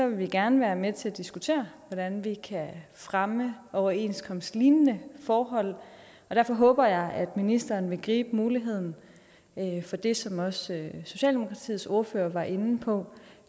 vil vi gerne være med til at diskutere hvordan vi kan fremme overenskomstlignende forhold og derfor håber jeg at ministeren vil gribe muligheden for det som også socialdemokratiets ordfører var inde på